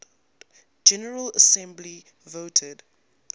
general assembly voted